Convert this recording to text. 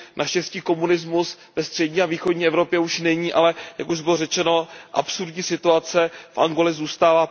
Naštěstí komunismus ve střední a východní Evropě už není, ale jak už bylo řečeno, absurdní situace v Angole zůstává.